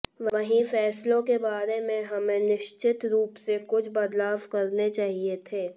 वहीं फैसलों के बारे में हमें निश्चित रूप से कुछ बदलाव करने चाहिए थे